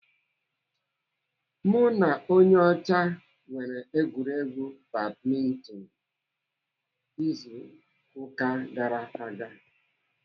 Mụ na onye ọcha mere egwuregwu badminton izu ụka gara aga.